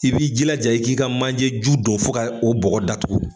I b'i jilaja i k'i ka manjeju don fo ka o bɔgɔ datugu.